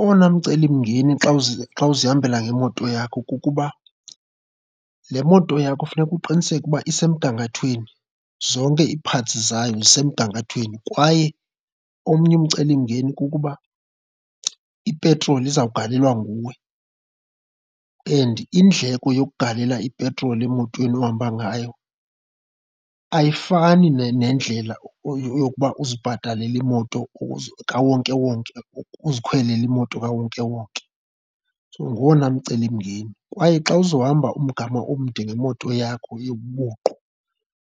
Owona mcelimngeni xa xa uzihambela ngemoto yakho kukuba le moto yakho funeka uqiniseke ukuba isemgangathweni, zonke ii-parts zayo zisemgangathweni. Kwaye omnye umcelimngeni kukuba ipetroli izawugalelwa nguwe and indleko yokugalela ipetroli emotweni ohamba ngayo ayifani nendlela yokuba uzibhatalele imoto kawonkewonke, uzikhwelele imoto kawonkewonke, so ngowona mcelimngeni. Kwaye xa uzohamba umgama omde ngemoto yakho yobuqu,